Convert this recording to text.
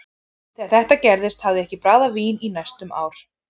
Þegar þetta gerðist hafði ég ekki bragðað vín í næstum ár.